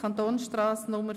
«Kantonsstrasse Nr.